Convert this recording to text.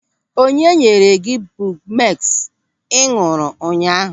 Onye nyere gị bumeks ị ñụ̀rụ̀ ụnyaahụ?